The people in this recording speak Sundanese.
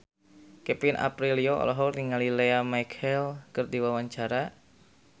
Kevin Aprilio olohok ningali Lea Michele keur diwawancara